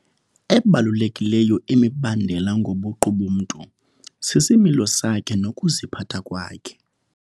Ebalulekileyo imibandela ngobuqu bomntu sisimilo sakhe nokuziphatha kwakhe.